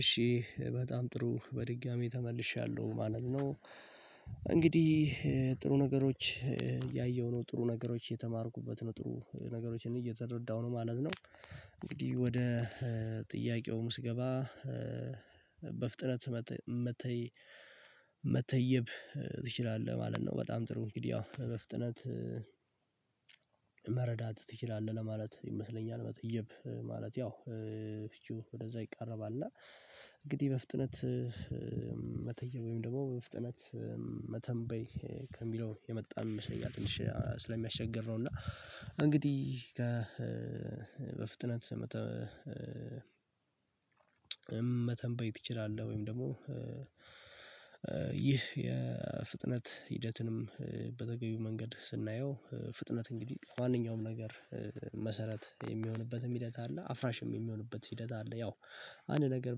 እሺ በጣም ጥሩ በድጋሚ ተመልሻለሁ ማለት ነው። እንግዲህ ጥሩ ነገሮች እያየሁ ነው ጥሩ ነገሮች የተማርኩበት ነው ጥሩ ነገሮችን እየተረዳሁ ነው ማለት ነው። እንግዲህ ወደ ጥያቄውም ስገባ እ በፍጥነት መተ መተይ መተየብ ትችላለህ ማለት ነው በጣም ጥሩ እንግዲህ ያው በፍጥነት መረዳት ትችላለህ ማለት ይመስለኛል። መተየብ ማለት ያው ፍቺው ወደዛ ይቃረባል እና እንግዲህ በፍጥነት መተየብ ወይም ደግሞ በፍጥነት መተንበይ ከሚለው የመጣም ይመስለኛል ትንሽ ስለሚያስቸግር ነውና። እንግዲህ ከ በፍጥነት መተ መተንበይ ትችላለህ ወይም ደግሞ ይህ የፍጥነት ሂደትንም በተገቢው መንገድ ስናየው ፍጥነት እንግዲህ ለማንኛውም ነገር መሰረት የሚሆንበትም ሂደት አለ አፍራሽም የሚሆንበት ሂደት አለ። ያው አንድ ነገር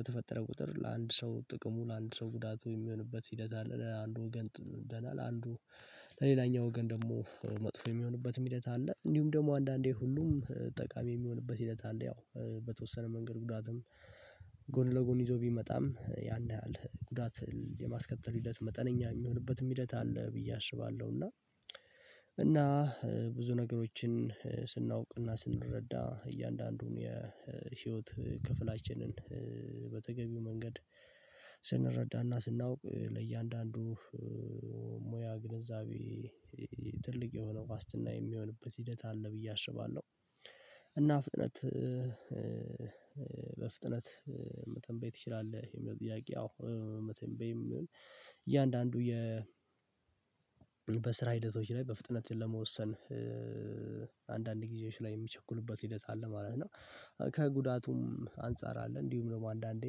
በተፈጠረ ቁጥር ለአንድ ሰው ጥቅሙ ለአንድ ሰው ጉዳቱ የሚሆንበት ሂደት አለ። አንዱ ወገን ይጠቀምበታል አንዱ ለሌላኛው ወገን ደግሞ መጥፎ የሚሆንበትም ሂደት አለ። እንዲሁም ደግሞ አንዳንዴ ሁሉም ጠቃሚ የሚሆንበት ሂደት አለ። ያው በተወሰነ መንገድ ጉዳትም ጎን ለጎን ይዞ ቢመጣም ያን ያህል ጉዳት የማስከተል ሂደት መጠነኛ የሚሆንበትም ሂደት አለ ብዬ አስባለሁ። እና እና ብዙ ነገሮችን ስናውቅና ስንረዳ እያንዳንዱን የህይወት ክፍላችንን በተገቢው መንገድ ስንረዳና ስናውቅ ለእያንዳንዱ ሙያ ግንዛቤ ትልቅ የሆነው ዋስትና የሚሆንበት ሂደት አለ ብዬ አስባለሁ። እና ፍጥነት በፍጥነት መተንበይ ትችላለህ የምለው ጥያቄ አዎ መተንበይም ይሁን እያንዳንዱ የ በስራ ሂደቶች ላይ በፍጥነት ለመወሰን አንዳንድ ጊዜዎች ላይ የሚቸኩልበት ሂደት አለ ማለት ነው። ከጉዳቱም አንፃር አለ እንዲሁም ደግሞ አንዳንዴ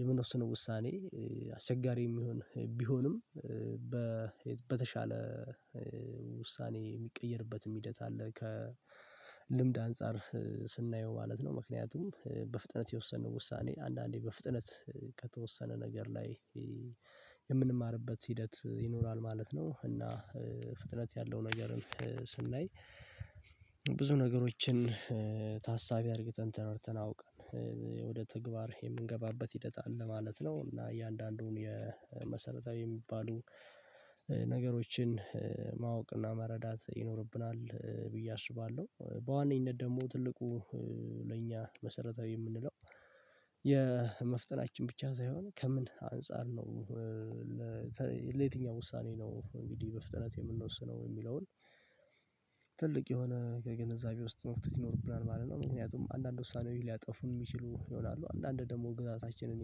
የምንወስነው ውሳኔ አስቸጋሪም ይሁን ቢሆንም በ በተሻለ ውሳኔ የሚቀየርበትም ሂደት አለ ከልምድ አንፃር ስናየው ማለት ነው ምክንያቱም በፍጥነት የወሰነው ውሳኔ አንዳንዴ በፍጥነት ከተወሰነ ነገር ላይ የምንማርበት ሂደት ይኖራል ማለት ነው። እና ፍጥነት ያለው ነገርን ስናይ ብዙ ነገሮችን ታሳቢ አድርገን ተረድተን አውቀን ወደ ተግባር የምንገባበት ሂደት አለ ለማለት ነው። እና እያንዳንዱን የመሰረታዊ የሚባሉ ነገሮችን ማወቅና መረዳት ይኖርብናል ብዬ አስባለሁ። በዋነኝነት ደግሞ ትልቁ ለኛ መሰረታዊ የምንለው የመፍጠናችን ብቻ ሳይሆን ከምን አንፃር ነው ለ ለየትኛው ውሳኔ ነው እንግዲህ በፍጥነት የምንወስነው የሚለውን ትልቅ የሆነ ከግንዛቤ ውስጥ መክተት ይኖርብናል ማለት ነው። ምክንያቱም አንዳንድ ውሳኔዎች ሊያጠፉን የሚችሉ ይሆናሉ አንዳንድ ደግሞ ግዛታችንን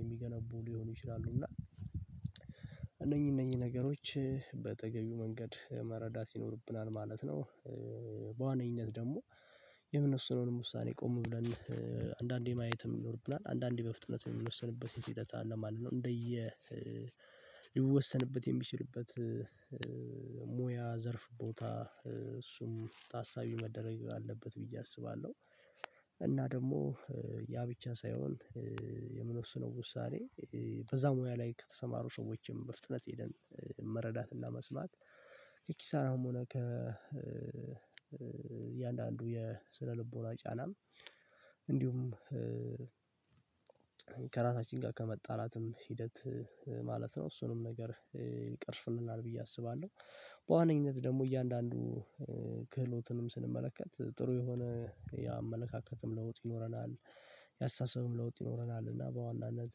የሚገነቡ ሊሆኑ ይችላሉ እና እነኚህን እነኚህን ነገሮች በተገቢው መንገድ መረዳት ይኖርብናል ማለት ነው። በዋነኝነት ደግሞ የምንወስነውንም ውሳኔ ቆሞ ብለን አንዳንዴ ማየትም ይኖርብናል አንዳንዴ በፍጥነትም የምንወስንበትም ሂደት አለ ማለት ነው እንደየ ሊወሰንበት የሚችልበት ሙያ ዘርፍ ቦታ እሱም ታሳቢ መደረግ አለበት ብዬ አስባለሁ። እና ደግሞ ያ ብቻ ሳይሆን የምንወስነው ውሳኔ በዛ ሙያ ላይ ከተሰማሩ ሰዎችም በፍጥነት ሄደን መረዳትና መስማት ከኪሳራም ሆነ ከ እያንዳንዱ የስነልቦና ጫናም እንዲሁም ከራሳችን ጋር ከመጣላትም ሂደት ማለት ነው እሱንም ነገር ይቀርፍልናል ብዬ አስባለሁ። በዋነኝነት ደግሞ እያንዳንዱ ክህሎትንም ስንመለከት ጥሩ የሆነ የአመለካከትም ለውጥ ይኖረናል የአስተሳሰብም ለውጥ ይኖረናል እና በዋናነት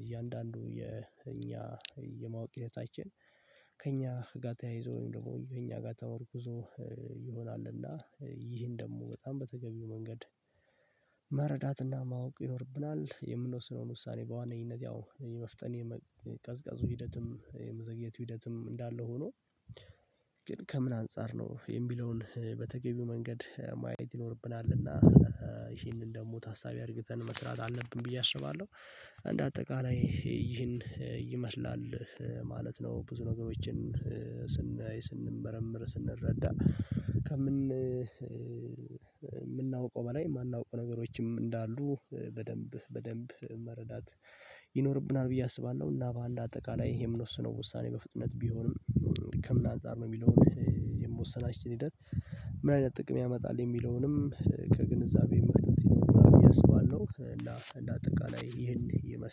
እያንዳንዱ የእኛ የማወቅ ሂደታችን ከእኛ ጋር ተያይዞኝ ደግሞ እኛ ጋር ተመርኩዞ ይሆናልና ይህን ደግሞ በጣም በተገቢው መንገድ መረዳትና ማወቅ ይኖርብናል። የምንወስነውን ውሳኔ በዋናኝነት ያው የመፍጠን የመቀዝቀዙ ሂደትም የመዘግየቱ ሂደትም እንዳለው ሆኖ ግን ከምን አንፃር ነው የሚለውን በተገቢው መንገድ ማየት ይኖርብናልና ይሄንን ደግሞ ታሳቢ አድርገን መስራት አለብን ብዬ አስባለሁ። እንደ አጠቃላይ ይህን ይመስላል ማለት ነው ብዙ ነገሮችን ስናይ ስንመረምር ስንረዳ ከምን ከምናውቀው በላይ የማናውቀው ነገሮችም እንዳሉ በደንብ በደንብ መረዳት ይኖርብናል ብዬ አስባለሁ። እና እንደ አጠቃላይ ይሄ የምንወስነው ውሳኔ በፍጥነት ቢሆንም ከምን አንፃር ነው የሚለውን የመወሰናችን ሂደት ምን አይነት ጥቅም ያመጣል የሚለውንም ከግንዛቤ መክተት ይኖርብናል ብዬ አስባለሁ። እና እንደ አጠቃላይ ይሄን ይመስላል